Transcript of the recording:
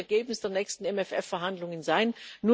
Das muss das Ergebnis der nächsten MFR Verhandlungen sein.